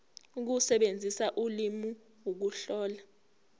ukusebenzisa ulimi ukuhlola